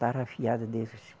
Tarrafiada